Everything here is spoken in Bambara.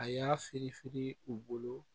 A y'a firin firin u bolo